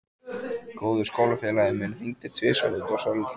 Góður skólafélagi minn hringdi tvisvar út af svolitlu.